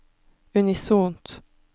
unisont